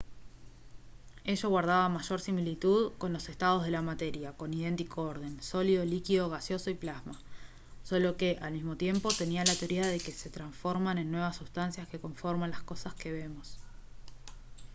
ello guardaba mayor similitud con los estados de la materia con idéntico orden: sólido líquido gaseoso y plasma solo que al mismo tiempo tenía la teoría de que se transforman en nuevas sustancias que conforman las cosas que vemos